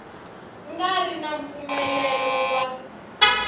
nga ri na mpfumelelo wa